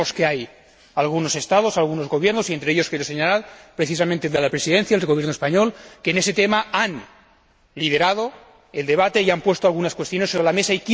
Sabemos que hay algunos Estados, algunos gobiernos, entre ellos quiero señalar precisamente el de la Presidencia, el Gobierno español, que en ese tema han liderado el debate y han puesto algunas cuestiones sobre la mesa.